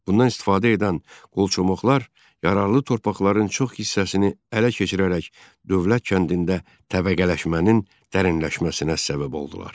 Bundan istifadə edən qolçomaqlar yararlı torpaqların çox hissəsini ələ keçirərək dövlət kəndində təbəqələşmənin dərinləşməsinə səbəb oldular.